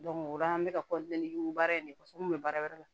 o la an bɛ ka baara in ne kɔsɔn n bɛ baara wɛrɛ la